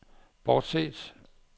bortset